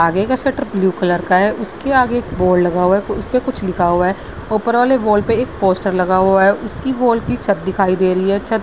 आगे का shutter blue colour का है। उसके आगे एक वॉल लगा हुआ है उसपे कुछ लिखा हुआ है। ऊपर वाले वॉल पे एक पोस्टर लगा हुआ है। उसकी वॉल की छत दिखाई दे रही है। छत --